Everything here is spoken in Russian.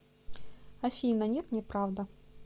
афина нет неправда